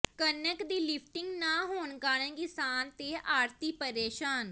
ਕ ਣਕ ਦੀ ਲਿਫਟਿੰਗ ਨਾ ਹੋਣ ਕਾਰਨ ਕਿਸਾਨ ਤੇ ਆੜ੍ਹਤੀ ਪ੍ਰੇਸ਼ਾਨ